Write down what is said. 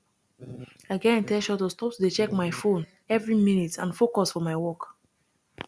i get in ten tion to stop to dey check my phone every minute and focus for my work